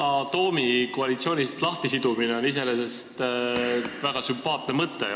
Yana Toomi koalitsioonist lahtisidumine on iseenesest väga sümpaatne mõte.